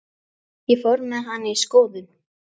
Ég fór með hana í skoðun.